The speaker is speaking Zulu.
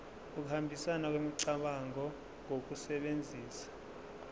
ukuhambisana kwemicabango ngokusebenzisa